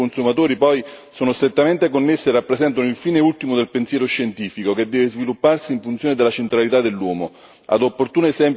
Salute e sicurezza dei consumatori, poi sono strettamente connesse e rappresentano il fine ultimo del pensiero scientifico, che deve svilupparsi in funzione della centralità dell'uomo.